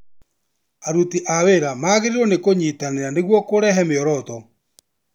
Aruti a wĩra magĩrĩirwo nĩ kũnyitanĩra nĩguo kurehe mĩoroto.